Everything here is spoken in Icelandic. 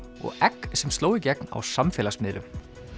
og egg sem sló í gegn á samfélagsmiðlum